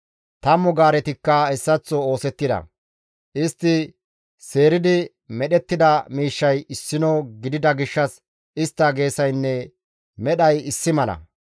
Tammu gaaretikka hessaththo oosettida; istti seeridi medhettida miishshay issino gidida gishshas istta geesaynne medhay issi mala.